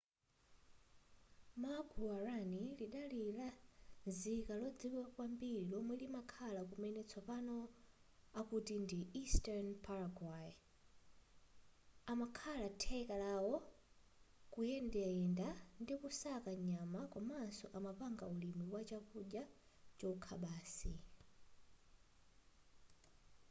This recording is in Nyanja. ma guaraní lidali lanzika lodziwika kwambiri lomwe limakhala kumene tsopano akuti ndi eastern paraguay amakhala theka lawo kuyendayenda ndikusaka nyama komaso amapanga ulimi wa chakudya chokha basi